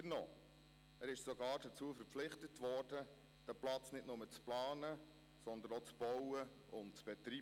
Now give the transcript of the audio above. Weiter noch: Der Regierungsrat wurde sogar dazu verpflichtet, den Platz nicht nur zu planen, sondern auch zu bauen und zu betreiben.